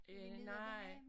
Øh nej